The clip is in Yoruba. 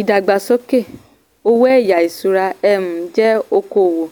ìdàgbàsókè owó ẹ̀yá ìṣúra um jẹ́ okòwò